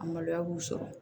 A maloya b'u sɔrɔ